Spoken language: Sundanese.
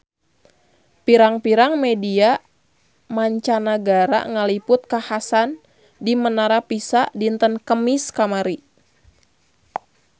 Pirang-pirang media mancanagara ngaliput kakhasan di Menara Pisa dinten Kemis kamari